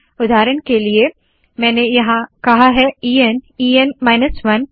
उदाहरण के लिए यहाँ मैंने कहा है E N E N minus 1